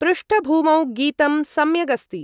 पृष्ठभूमौ गीतं सम्यगस्ति।